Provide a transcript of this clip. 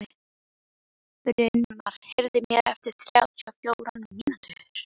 Brynmar, heyrðu í mér eftir þrjátíu og fjórar mínútur.